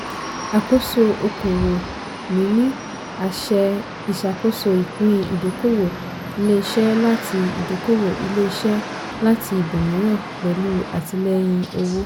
àkóso okòwò - níní àṣẹ ìṣàkoso ìpín ìdókòwò ilé-iṣẹ́ láti ìdókòwò ilé-iṣẹ́ láti ibòmíràn pẹ̀lú àtìlẹ́yìn owó.